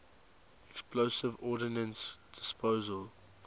explosive ordnance disposal